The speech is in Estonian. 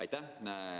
Aitäh!